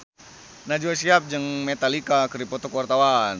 Najwa Shihab jeung Metallica keur dipoto ku wartawan